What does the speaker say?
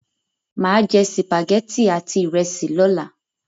Mà á jẹ sìpàgẹ́tì àti ìrẹsì lọ́la.